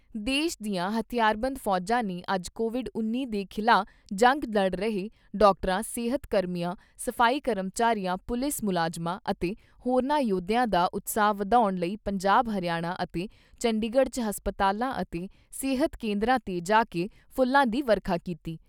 ਦੇਸ਼ ਦੀਆਂ ਹਥਿਆਰਬੰਦ ਫੌਜਾਂ ਨੇ ਅੱਜ ਕੋਵਿਡ ਉੱਨੀ ਦੇ ਖਿਲਾਫ਼ ਜੰਗ ਲੜ ਰਹੇ ਡਾਕਟਰਾਂ, ਸਿਹਤ ਕਰਮੀਆਂ, ਸਫ਼ਾਈ ਕਰਮਚਾਰੀਆਂ, ਪੁਲਿਸ ਮੁਲਾਜਮਾਂ ਅਤੇ ਹੋਰਨਾਂ ਯੋਧਿਆਂ ਦਾ ਉਤਸ਼ਾਹ ਵਧਾਉਣ ਲਈ ਪੰਜਾਬ, ਹਰਿਆਣਾ ਅਤੇ ਚੰਡੀਗੜ 'ਚ ਹਸਪਤਾਲਾਂ ਅਤੇ ਸਿਹਤ ਕੇਂਦਰਾਂ ਤੇ ਜਾਕੇ ਫੁੱਲਾਂ ਦੀ ਵਰਖਾ ਕੀਤੀ।